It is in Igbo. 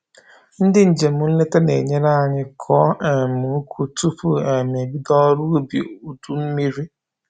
Ndị njem nleta na-enyere anyị kọọ um uku tupu um ebido ọrụ ubi udu mmiri